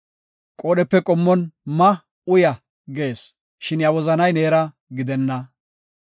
Qoodhepe qommon “Ma; uya” gees; shin iya wozanay neera gidenna.